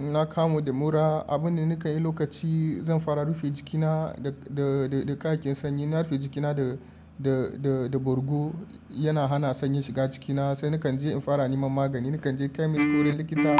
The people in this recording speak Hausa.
Na kamu da mura, abinda nakayi lokaci zan fara rufe jikina da, da, da, da ƙayayyakin sanyi. Na rufe jikina da, da, da, da bargo yana hana sanyin shiga cikina saina kanje in fara neman magani. Na kanje chemist ko wurin likita